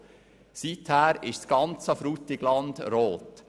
Seiher ist das ganze Frutigland rot.